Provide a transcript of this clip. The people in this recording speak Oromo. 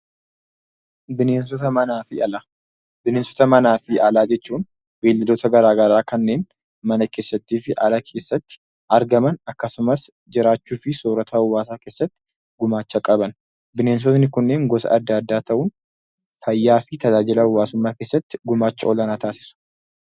Bineensota Manaa fi Alaa Bineensota manaa fi alaa jechuun beeyladoota garaagaraa kanneen mana keessatti fi ala keessatti argaman akkasumas jiraachuu fi soorata hawaasaa keessatti gumaacha qaban. Bineensonni kunneen gosa adda addaa ta'u. Fayyaa fi tajaajila hawaasummaa keessatti gumaacha olaanaa taasisu.